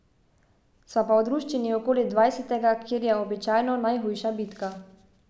Sva pa v druščini okoli dvajsetega, kjer je običajno najhujša bitka.